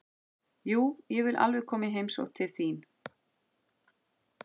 Jú, ég vil alveg koma í heimsókn til þín.